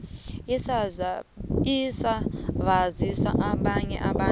isezabasiza nabanye abantu